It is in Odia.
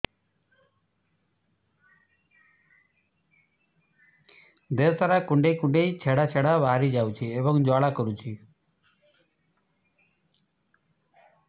ଦେହ ସାରା କୁଣ୍ଡେଇ କୁଣ୍ଡେଇ ଛେଡ଼ା ଛେଡ଼ା ବାହାରି ଯାଉଛି ଏବଂ ଜ୍ୱାଳା କରୁଛି